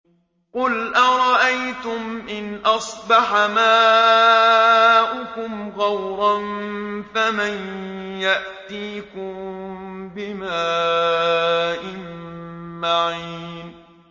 قُلْ أَرَأَيْتُمْ إِنْ أَصْبَحَ مَاؤُكُمْ غَوْرًا فَمَن يَأْتِيكُم بِمَاءٍ مَّعِينٍ